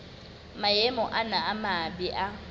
maemo ana a mabe a